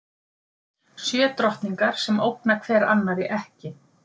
Sjö drottningar sem ógna hver annarri ekki.